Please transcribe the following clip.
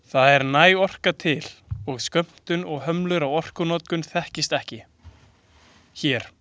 Það er næg orka til og skömmtun og hömlur á orkunotkun þekkist ekki hér.